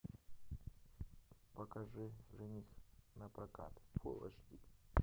покажи жених напрокат фул эйч ди